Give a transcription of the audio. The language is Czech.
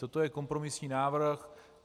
Toto je kompromisní návrh.